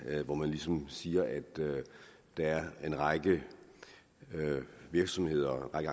hvor man ligesom siger at der er en række virksomheder og en